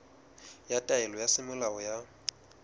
ya taelo ya semolao ya